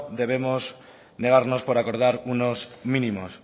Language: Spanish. debemos negarnos por acordar unos mínimos